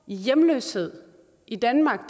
i hjemløshed i danmark